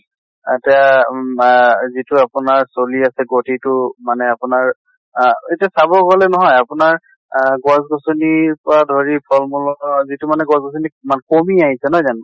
আহ তিয়া উম আহ যিটো আপোনাৰ চলি আছে গতি টো মানে আপোনাৰ আহ এতিয়া চাব গলে নহয় আপোনাৰ আ গছ গছ্নি পৰা ধৰি ফল মূলৰ ধৰা যিটো মানে গছ গছ্নি মা কমি আহিছে নহয় জানো?